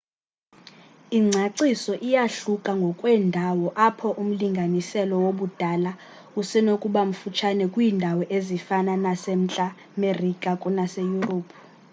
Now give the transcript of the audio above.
ingcaciso iyahluka ngokweendawo apho umlinganiselo wobudala usenokubamfutshane kwiindawo ezifana nasemntla merika kunaseyurophu